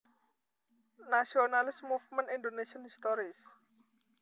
Nationalist Movements Indonésian History